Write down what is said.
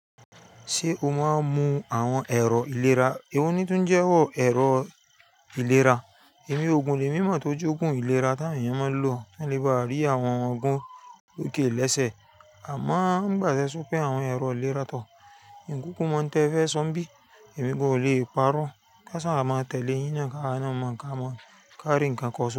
Ṣé o máa ń lo àwọn ẹ̀rọ ìlera? Èwo ni tó ń jẹ́wọ́ ẹ̀rọ ìlera? Èmi ogun lè mímọ̀ tó jọ́gùn ìlera tí àwọn èèyàn máa ń lò ko lé bá rí àwọn ogun òkè lẹ́sẹ̀. Àmọ́ nigbà tẹ́ sọ pé àwọn ẹ̀rọ ìlera tọ̀. Ìkúkú mọ́ ń tẹ́ ẹ fẹ́ so ibí? Ẹ̀mí gan o le parọ́. Ka sá à máa tẹ̀lé yín naa ka rí ǹkan ko so.